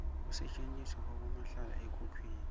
kusetjentiswa kwabomahlala ekhukhwini